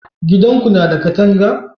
gidan Ku na da katanga?